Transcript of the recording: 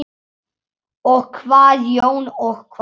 Og hvað Jón, og hvað?